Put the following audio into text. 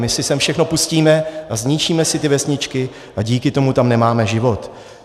My si sem všechno pustíme a zničíme si ty vesničky a díky tomu tam nemáme život.